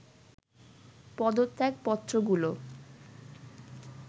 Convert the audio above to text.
পদত্যাগ পত্রগুলো